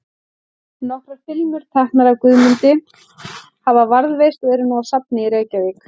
Nokkrar filmur, teknar af Guðmundi, hafa varðveist og eru nú á safni í Reykjavík.